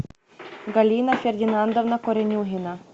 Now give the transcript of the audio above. галина фердинандовна коренюгина